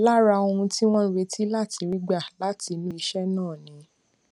lára ohun tí wón ń retí láti rí gbà látinú iṣé náà ni